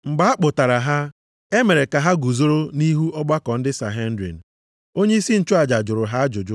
Mgbe a kpụtara ha, e mere ka ha guzoro nʼihu ọgbakọ ndị Sanhedrin, onyeisi nchụaja jụrụ ha ajụjụ,